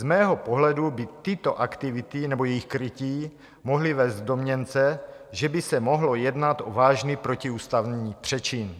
Z mého pohledu by tyto aktivity nebo jejich krytí mohly vést k domněnce, že by se mohlo jednat o vážný protiústavní přečin.